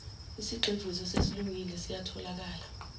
isigxivizo esesilungile siyatholakala